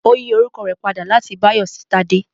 Ó yí orúkọ rẹ̀ padà láti Báyọ̀ sí Tádé